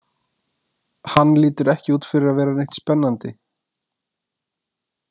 Hann lítur ekki út fyrir að vera neitt spennandi